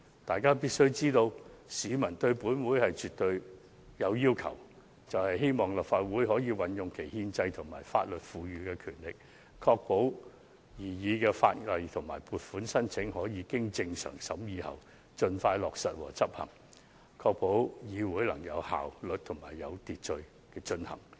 大家必須明白到，市民對本會是絕對有要求的，就是希望立法會可以運用其憲制及法律賦予的權力，確保擬議法例及撥款申請可以經正常審議後，盡快落實和執行，並同時確保會議能有效率及有秩序地進行。